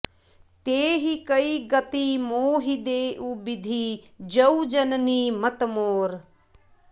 तेहि कइ गति मोहि देउ बिधि जौं जननी मत मोर